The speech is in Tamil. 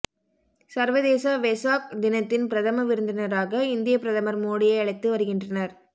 சர்வதேச வெசாக் தினத்தின் பிரதம விருந்தினராக இந்திய பிரதமர் மோடியை அழைத்து வருகின்றனர்